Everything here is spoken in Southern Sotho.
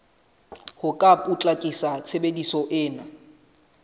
ho ka potlakisa tshebetso ena